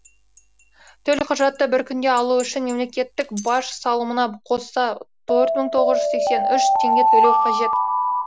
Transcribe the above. төлқұжатты бір күнде алу үшін мемлекеттік баж салымына қоса төрт мың тоғыз жүз сексен үш теңге төлеу қажет